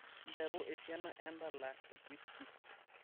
nteru esiana endala etwisti